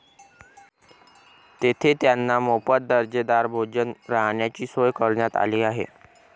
तेथे त्यांना मोफत दर्जेदार भोजन, राहण्याची सोय करण्यात आली आहे.